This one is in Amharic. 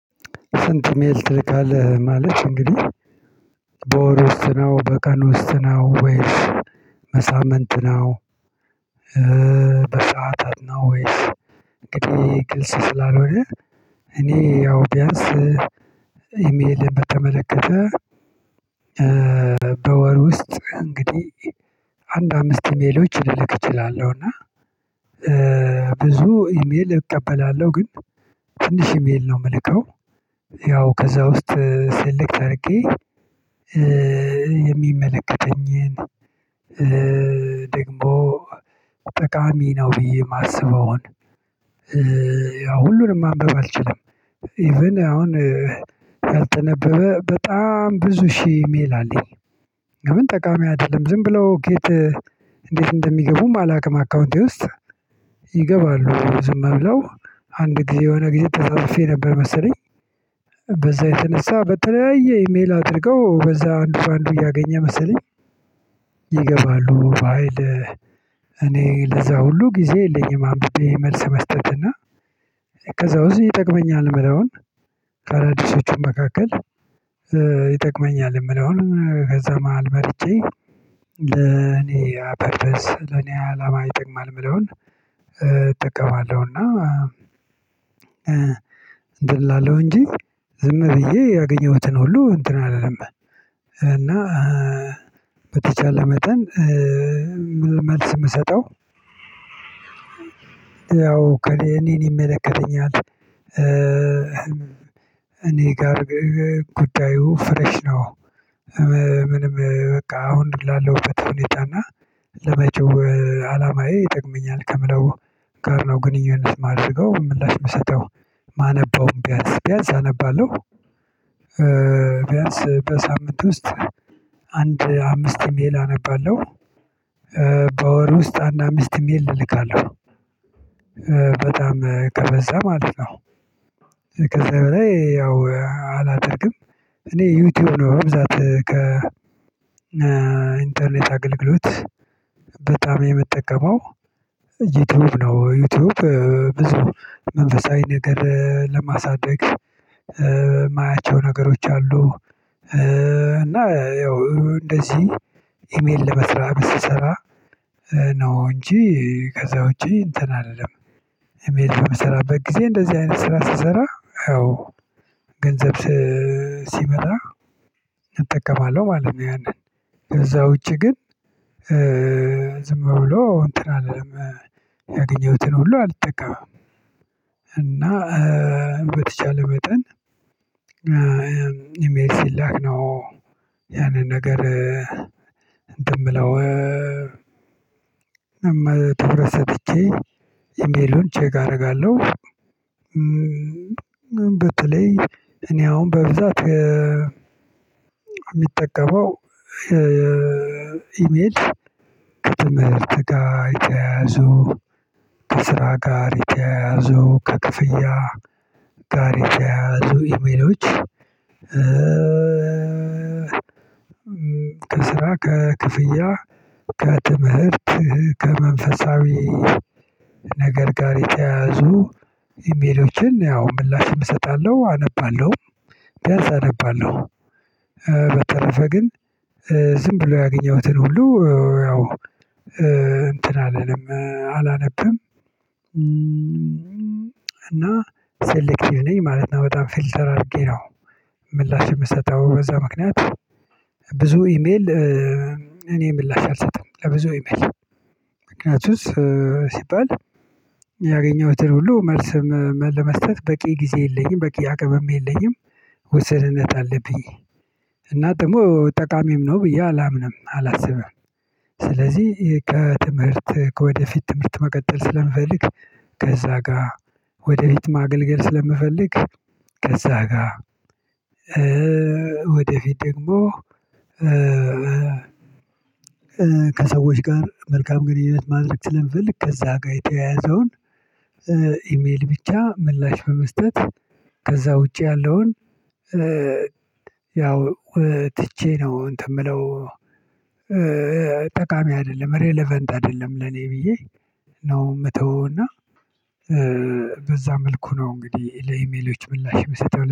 ስንት ኢሜል ትልካለህ ማለት እንግዲህ በወር ውስጥ ነው በቀን ውስጥ ነው ወይስ በሳምንት ነው? በሰአታት ነው ወይስ ቅድሚያ ግልጽ ስላልሆነ። እኔ ያው ቢያንስ ኢሜል በተመለከተ በወር ውስጥ እንግዲህ አንድ አምስት ኢሜሎች ልልክ እችላለሁ እና። ብዙ ኢሜል እቀበላለሁ ግን ትንሽ ኢሜል ነው የምልከው። ያው ከዛ ውስጥ ሰሌክት አድርጌ የሚመለከተኝን ደግሞ ጠቃሚ ነው ብዬ የማስበውን ያ ሁሉንም ማንበብ አልችልም። ኢቭን አሁን ያልተነበበ በጣም ብዙ ሺህ ኢሜል አለኝ። ለምን ጠቃሚ አይደለም ዝም ብለው ከየት እንዴት እንደሚገቡም አላውቅም። አካውንቴ ውስጥ ይገባሉ ዝም ብለው አንድ ጊዜ የሆነ ጊዜ ተዘርፌ ነበር መሰለኝ። በዛ የተነሳ በተለያየ ኢሜል አድርገው በዛ አንዱ በአንዱ እያገኘ መሰለኝ ይገባሉ በሃይል። እኔ ለዛ ሁሉ ጊዜ የለኝም አንብቤ መልስ መስጠትና። ከዛ ውስጥ ይጠቅመኛል የምለውን ከአዳዲሶቹ መካከል ይጠቅመኛል የምለውን ከዛ መሃል መርጬ ለኔ ፐርፐዝ ለኔ አላማ ይጠቅማል የምለውን እጠቀማለሁ። እና እንትን እላለሁ እንጂ ዝም ብዬ ያገኘሁትን ሁሉ እንትን አልልም። እና በተቻለ መጠን መልስ የምሰጠው ያው እኔን ይመለከተኛል እኔ ጋር ጉዳዩ ፍረሽ ነው። ምንም በቃ አሁን ላለው ፍትህ ሁኔታ እና ለመቼው አላማዬ ይጠቅመኛል ከምለው ጋር ነው ግንኙነት የማደርገው ምላሽ የምሰጠው ማነበውም ቢያንስ ቢያንስ አነባለሁ። ቢያንስ በሳምንት ውስጥ አንድ አምስት ኢሜል አነባለሁ። በወር ውስጥ አንድ አምስት ኢሜል እልካለሁ። በጣም ከበዛ ማለት ነው ከዛ በላይ ያው አላደርግም። እኔ ዩቲዩብ ነው በብዛት ከ ኢንተርኔት አገልግሎት በጣም የምጠቀመው ዩቲዩብ ነው ዩቲዩብ ብዙ መንፈሳዊ ነገር ለማሳደግ የማያቸው ነገሮች አሉ። እና ያው እንደዚህ ኢሜል ለመስራት ስሰራ ነው እንጂ ከዛ ውጪ እንትን አይደለም። የመሄድ በምሰራበት ጊዜ እንደዚህ አይነት ስራ ስሰራ አዎ ገንዘብ ሲመጣ እጠቀማለሁ ማለት ነው። ያንን ከዛ ውጪ ግን ዝም ብሎ እንትን አልልም ያገኘሁትን ሁሉ አልጠቀምም። እና በተቻለ መጠን ኢሜል ሲላክ ያንን ነገር እንትን የምለው ትኩረት ሰጥቼ ኢሜሉን ቼክ አደርጋለሁ። በተለይ እኔ አሁን በብዛት የምጠቀመው ኢሜል ከትምህርት ጋር የተያያዙ ከስራ ጋር የተያያዙ ከክፍያ ጋር ይተያያዙ ኢሜሎች። ከስራ ከክፍያ ከትምህርት ከመንፈሳዊ ነገር ጋር የተያዙ ኢሜሎችን ያው ምላሽም እሰጣለሁ አነባለሁ ቢያንስ አነባለሁ። በተረፈ ግን ዝም ብሎ ያገኘሁትን ሁሉ ያው እንትን አለልም አላነብም። እና ሰሌክቲቭ ነኝማለት ነው በጣም ፊልተር አድርጌ ነው። ምላሽ የምሰጠው በዛ ምክንያት ብዙ ኢሜል እኔ ምላሽ አልሰጥም ለብዙ አይመስልም ምክንያቱስ ሲባል ያገኘሁትን ሁሉ መልስ ለመስጠት በቂ ጊዜ የለኝም በቂ አቅምም የለኝም ውሰንነት አለብኝ። እና ደግሞ ጠቃሚም ነው ብዬ አላምንም አላስብም። ስለዚህ ከትምህርት ከወደፊት ትምህርት መቀጠል ስለምፈልግ ከዛ ጋር ወደፊት ማገልገል ስለምፈልግ ከዛ ጋር ወደፊት ደግሞ ከሰዎች ጋር መልካም ግንኙነት ማድረግ ስለምፈልግ ከዛ ጋር የተያያዘውን ኢሜል ብቻ ምላሽ በመስጠት ከዛ ውጪ ያለውን ያው ትቼ ነው እንትን የምለው ጠቃሚ አይደለም ሬለቨንት አይደለም ለኔ ብዬ ነው የምተውበት እና በዛ መልኩ ነው እንግዲህ ለኢሜሎች ምላሽ የምሰጠው